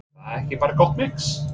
Er það ekki bara gott mix?